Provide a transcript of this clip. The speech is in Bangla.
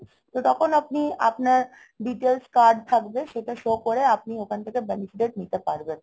তখন আপনি আপনার details card থাকবে সেটা show করে আপনি ওখান থেকে benefit নিতে পারবেন।